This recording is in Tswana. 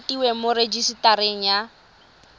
e rekotiwe mo rejisetareng ya